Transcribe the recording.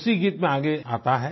उसी गीत में आगे आता है